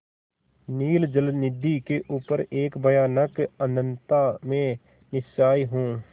नील जलनिधि के ऊपर एक भयानक अनंतता में निस्सहाय हूँ